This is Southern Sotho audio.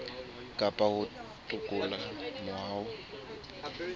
kapa ho toloka moo ho